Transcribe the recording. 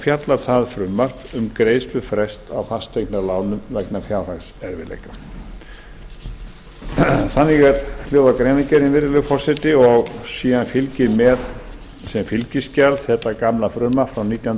fjallar það um greiðslufrest á fasteignalánum vegna fjárhagserfiðleika þannig hljóðar greinargerðin virðulegi forseti og síðan fylgir með sem fylgiskjal þetta gamla frumvarp frá nítján hundruð níutíu